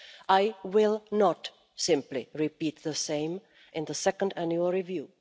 I will not simply repeat the same in the second annual review.